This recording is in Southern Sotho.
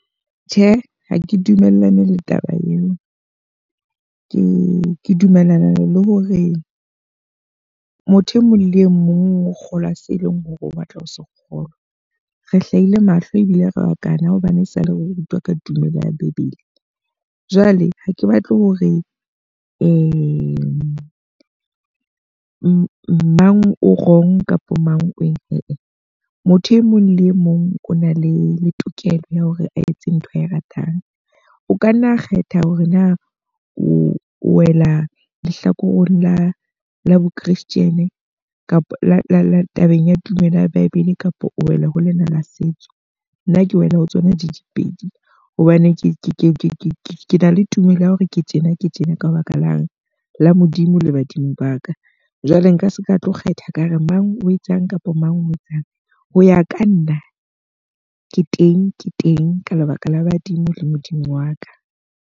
Tjhe, ha ke dumellane le taba eo. Ke dumellana le hore motho e mong le e mong o kgolwa seo e leng hore o batla ho se kgolwa. Re hlahile mahlo ebile re bakana hobane e sa le re rutwa ka tumelo ya Bebele. Jwale ha ke batle hore mang o wrong kapa mang o eng. Ee, motho e mong le e mong o na le tokelo ya hore a etse ntho ae ratang. O ka nna a kgetha hore na o wela lehlakoreng la la bo christian kapa la tabeng ya tumelo ya Bibele kapa o wela ho lena la setso. Nna ke wela ho tsona di le pedi. Hobane ke na le tumelo ya hore ke tjena ke tjena ka baka lang la Modimo le badimo ba ka. Jwale nka seka tlo kgetha ka hore mang o etsang kapa mang o etsang, ho ya ka nna ke teng ke teng ka lebaka la badimo le Modimo wa ka.